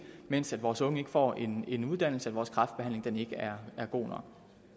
mens vores unge ikke får en en uddannelse og vores kræftbehandling ikke er god